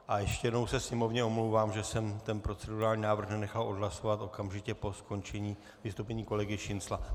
A ještě jednou se sněmovně omlouvám, že jsem ten procedurální návrh nenechal odhlasovat okamžitě po skončení vystoupení kolegy Šincla.